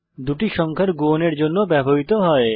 দুটি সংখ্যার গুণনের জন্য ব্যবহৃত হয়